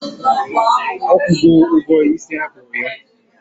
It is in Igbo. Ọ kwụgo ụgwọ isi a kpụ ya?